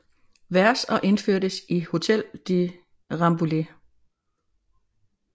Vers og indførtes i Hotel de Rambouillet